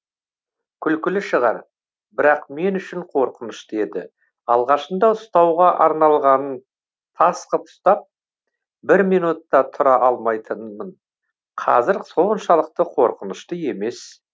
күлкілі шығар бірақ мен үшін қорқынышты еді алғашында ұстауға арналғанын тас қып ұстап бір минут та тұра алмайтынмын қазір соншалықты қорқынышты емес